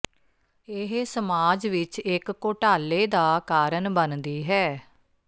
ਇਹ ਸਮਾਜ ਵਿੱਚ ਇੱਕ ਘੋਟਾਲੇ ਦਾ ਕਾਰਨ ਬਣਦੀ ਹੈ